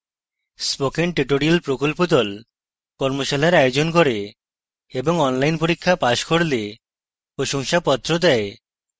spoken tutorial প্রকল্প the কর্মশালার আয়োজন করে এবং অনলাইন পরীক্ষা পাস করলে প্রশংসাপত্র দেওয়া হয়